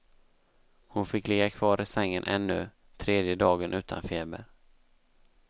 Hon fick ligga kvar i sängen ännu tredje dagen utan feber.